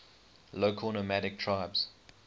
local nomadic tribes